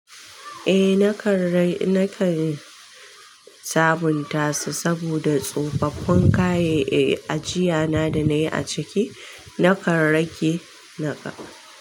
Eh nakan rai, nakan sabunta su saboda tsofaffun kayan, eh, ajiya na da na yi a ciki nakan rage naga.